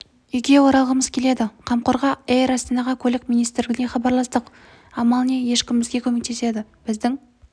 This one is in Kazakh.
үйге оралғымыз келеді қамқорға эйр астанаға көлік министрлігіне хабарластық амал не ешкім бізге көмектеспеді біздің